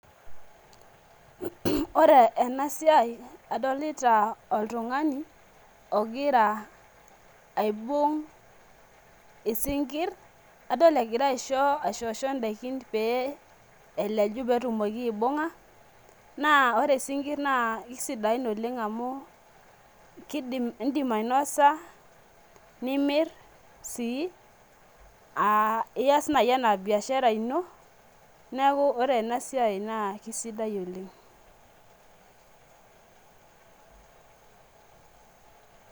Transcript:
ore ena siai adolita oltungani ogira aibung' isinkir. adolta egira aishosho daikin pee eleju pee etumoki aibung'a naa ore isinkir naa kisidain oleng amu isim ainosa, nimir sii aa iyas naaji anaa biashara ino, neeku ore ena siai naa kisidai oleng.